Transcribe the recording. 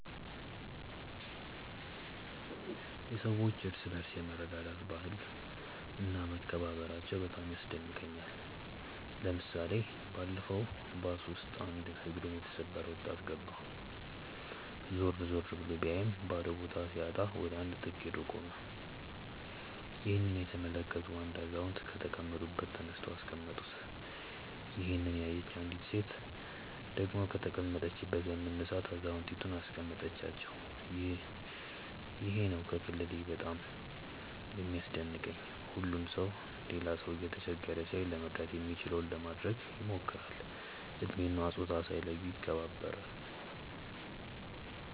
የሰዎች እርስ በርስ የመረዳዳት ባህል እና መከባበራቸው በጣም ያስደንቀኛል። ለምሳሌ ባለፈው ባስ ውስጥ አንድ እግሩን የተሰበረ ወጣት ገባ። ዞር ዞር ብሎ ቢያይም ባዶ ቦታ ሲያጣ ወደ አንድ ጥግ ሄዶ ቆመ። ይህንን የተመለከቱ አንድ አዛውንት ከተቀመጡበት ተነስተው አስቀመጡት። ይሄንን ያየች አንዲት ሴት ደግሞ ከተቀመጠችበት በመነሳት አዛውየንቱን አስቀመጠቻቸው። ይሄ ነው ከክልሌ ባህል በጣም የሚያስደንቀኝ። ሁሉም ሰው ሌላ ሰው እየተቸገረ ሲያይ ለመርዳት የሚችለውን ለማድረግ ይሞክራል። እድሜ እና ፆታ ሳይለዩ ይከባበራሉ።